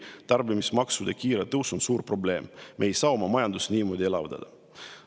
Tarbimismaksude kiire tõus on suur probleem, me ei saa oma majandust niimoodi elavdada.